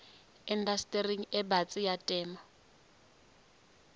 indastering e batsi ya temo